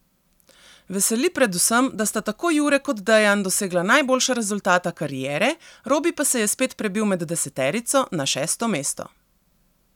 Veseli predvsem, da sta tako Jure kot Dejan dosegla najboljša rezultata kariere, Robi pa se je spet prebil med deseterico, na šesto mesto.